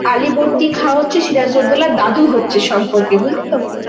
আলীবর্দী খাহঃ হচ্ছে সিরাজ উদ্দৌলার দাদু হচ্ছে সম্পর্কে বুঝলি তো?